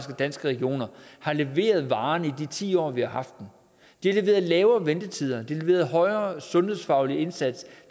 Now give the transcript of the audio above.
danske regioner har leveret varen i de ti år vi har haft dem de har leveret lavere ventetider de har leveret højere sundhedsfaglig indsats